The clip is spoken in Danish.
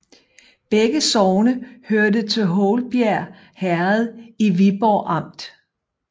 Begge sogne hørte til Houlbjerg Herred i Viborg Amt